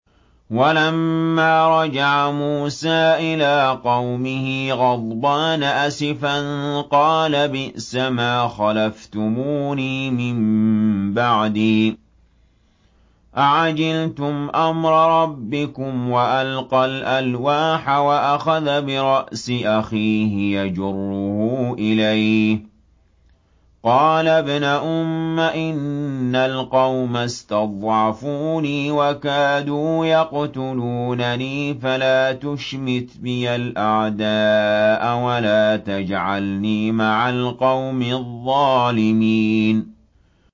وَلَمَّا رَجَعَ مُوسَىٰ إِلَىٰ قَوْمِهِ غَضْبَانَ أَسِفًا قَالَ بِئْسَمَا خَلَفْتُمُونِي مِن بَعْدِي ۖ أَعَجِلْتُمْ أَمْرَ رَبِّكُمْ ۖ وَأَلْقَى الْأَلْوَاحَ وَأَخَذَ بِرَأْسِ أَخِيهِ يَجُرُّهُ إِلَيْهِ ۚ قَالَ ابْنَ أُمَّ إِنَّ الْقَوْمَ اسْتَضْعَفُونِي وَكَادُوا يَقْتُلُونَنِي فَلَا تُشْمِتْ بِيَ الْأَعْدَاءَ وَلَا تَجْعَلْنِي مَعَ الْقَوْمِ الظَّالِمِينَ